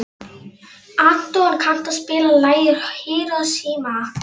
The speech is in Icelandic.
Anton, kanntu að spila lagið „Hiroshima“?